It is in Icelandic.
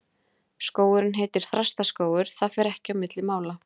Skógurinn heitir Þrastaskógur, það fer ekki á milli mála.